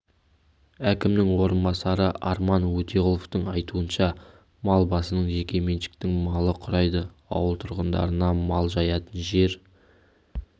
әкімінің орынбасары арман өтеғұловтың айтуынша мал басының жеке меншіктің малы құрайды ауыл тұрғындарына мал жаятын жер